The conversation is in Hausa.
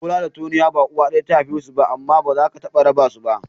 Bola da Tonia ba uwa ɗaya ta haife su ba ne amma ba za ka taɓa raba su ba.